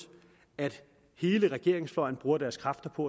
at hele regeringsfløjen bruger deres kræfter på